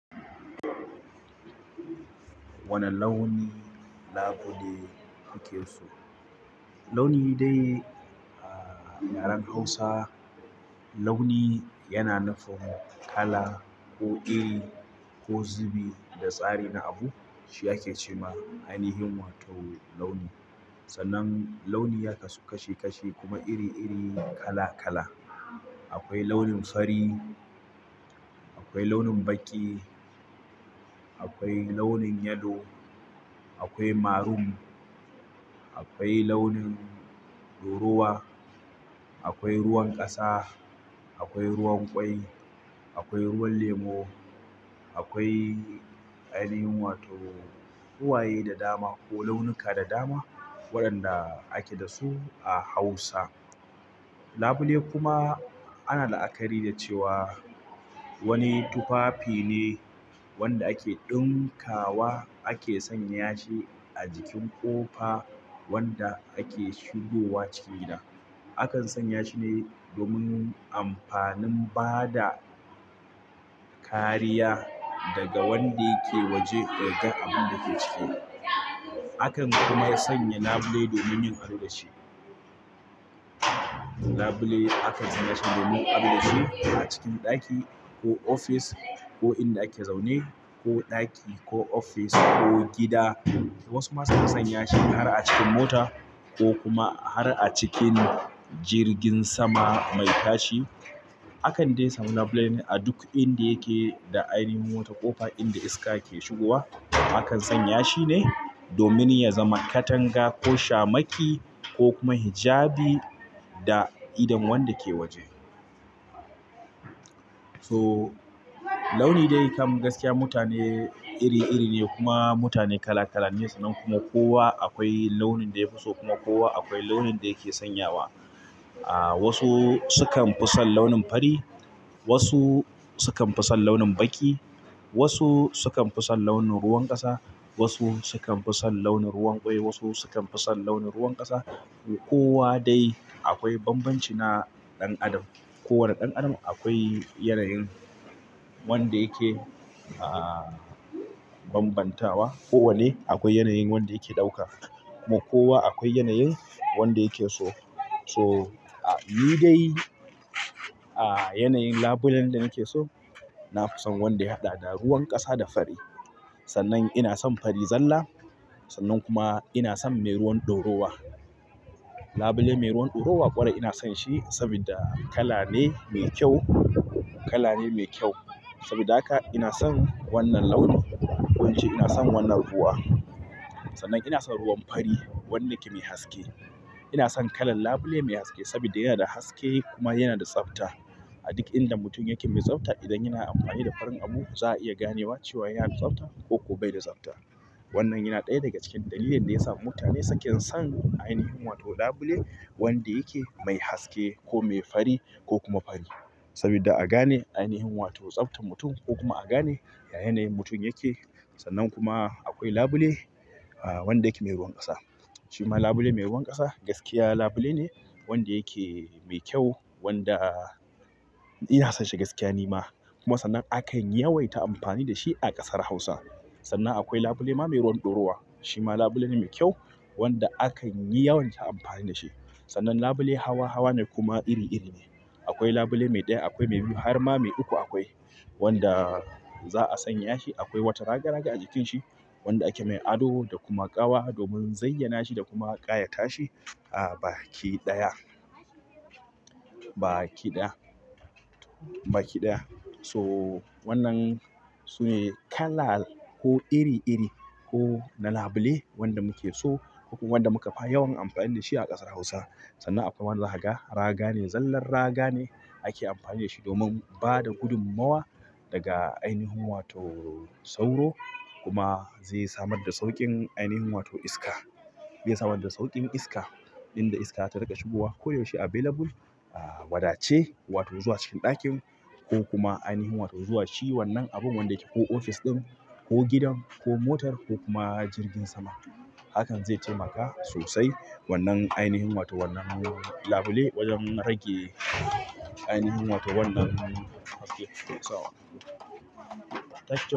Wane launi labule kuke so? Launi dai a yaren Hausa, launi yana nufin kala ko iri ko zubi da tsari na abu. Shi ake ce ma ainihin wato launi. Sannan launi ya kasu kashi kashi kuma iri iri kala kala. Akwai launin fari akwai launin baƙi akwai launin yellow akwai marun akwai launin ɗorawa akwai ruwan ƙasa akwai ruwan ƙwai akwai ruwan lemo. Akwai ainihin wato ruwaye da dama ko launuka da dama waɗanda ake da su a Hausa. Labule kuma ana la'akari da cewa wani tufafi ne wanda ake ɗinkawa ake sanya shi a jikin ƙofa wanda ake shigowa cikin gida. Akan sanya shi ne domin amfanin bada kariya daga wanda yake waje ya ga abun da ke ciki. Akan kuma sanya labule domin yin ado da shi. Labule aka jina shi domin ado da shi a cikin ɗaki ko ofis ko inda ake zaune ko ɗaki ko ofis ko gida. Wasu ma sukan sanya shi har a cikin mota ko kuma har a cikin jirgin sama mai tashi. Akan dai samu labule a duk inda yake da ainihin wata ƙofa inda iska ke shigowa. Akan sanya shi ne domin ya zama katanga ko shamaki ko kuma hijabi da idon wanda ke waje. So launi dai kam gaskiya mutane iri iri ne kuma mutane kala kala ne. Sannan kuma kowa akwai launin da ya fi so kuma kowa akwai launin da yake sanyawa. Ahh wasu sukan fi son launin fari, wasu sukan fi son launin baƙi, wasu sukan fi son launin ruwan ƙasa, wasu sukan fi son launin ruwan ƙwai, wasu sukan fi son launin ruwan ƙasa. Kowa dai akwai banbanci na ɗan adam kowane ɗan adam akwai yanayin wanda yake a bambantawa. Kowane akwai yanayin wanda yake ɗauka kuma kowa akwai yanayin wanda yake so. So ni dai a yanayin labulen da nake so, na fi son wanda ya haɗa da ruwan ƙasa da fari. Sannan ina son fari zalla. Sannan kuma ina son mai ruwan dorowa. Labule mai ruwan dorowa ƙwarai ina son shi sabida kala ne mai kyau. Kala ne mai kyau. Saboda haka ina son wannan launin ko ince ina son wannan ruwa. Sannan ina son ruwan fari wanda yake mai haske. Ina son kalan labule mai haske saboda yana da haske kuma yana da tsafta. A duk inda mutum yake mai tsafta idan yana amfani da farin abu za a iya ganewa cewa yana da tsafta ko kuma bai da tsafta. Wannan yana ɗaya daga cikin dalilin da ya sa mutane suke son ainihin wato labule wanda yake mai haske ko mai fari ko kuma fari. Saboda a gane ainihin wato tsaftar mutum ko kuma a gane ya yanayin mutum yake. Sannan kuma akwai labule wanda yake mai ruwan ƙasa. Shi ma labule mai ruwan ƙasa gaskiya labule ne wanda yake mai kyau wanda ina son shi gaskiya ni ma. Kuma sannan a kan yawaita amfani da shi a ƙasar Hausa. Sannan akwai labule ma mai ruwan dorowa. Shi ma labule ne mai kyau wanda a kan yi yawan ta amfani da shi. Sannan labule hawa hawa ne kuma iri iri ne. Akwai labule mai ɗaya, akwai mai biyu har ma mai uku akwai wanda za a sanya shi. Akwai wata raga raga a jikin shi wanda ake mai ado da kuma ƙawa domin zayyana shi da kuma ƙayata shi. Ahh baki ɗaya. Baki ɗaya. Baki ɗaya. So wannan su ne kala ko iri iri ko na labule wanda muke so ko kuma wanda muka fi yawan amfani da shi a ƙasar Hausa. Sannan akwai wanda zakaga. Raga ne zallar raga ne ake amfani da shi domin bada gudummawa daga ainihin wato sauro kuma zai samar da sauƙin ainihin wato iska. Zai samar da sauƙin iska inda iska ta riƙa shigowa koyaushe available wada ce wato zuwa cikin ɗakin ko kuma ainihin wato zuwa shi wannan abun wanda yake ko ofis ɗin ko gidan ko motar ko kuma jirgin sama. Hakan zai taimaka sosai wannan ainihin wato wannan labule wajen rage ainihin wato wannan haske sosai.